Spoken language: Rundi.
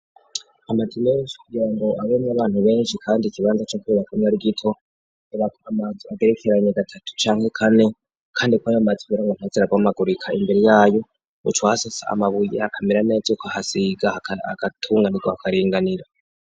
Amazu menshi ngirango abamwo abantu benshi, kandi ikibanza co kubakamwo ari gito, amazu agerekeranye gatatu canke kane, kandi kwayo mazu kugira ntaze arabomagurika imbere yayo uca ahasasa amabuye akamera neza, ukahasiga agatunganirwa hakaringanira.